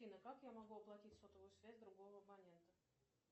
афина как я могу оплатить сотовую связь другого абонента